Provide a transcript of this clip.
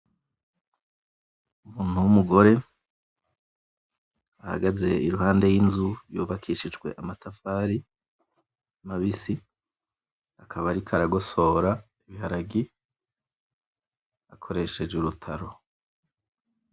Umuntu w'umugore ahagaze iruhande y'inzu yubakishijwe amatafari mabisi, akaba ariko aragosora ibiharage akoresheje urutaro.